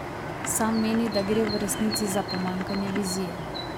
Sam meni, da gre v resnici za pomanjkanje vizije.